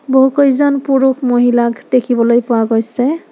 বহুকেইজন পুৰুষ-মহিলাক দেখিবলৈ পোৱা গৈছে।